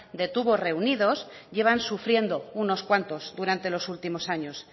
de tubos reunidos llevan sufriendo unos cuantos durante los últimos años